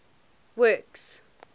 works